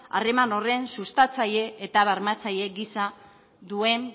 harreman sustatzaile eta bermatzaile gisa duen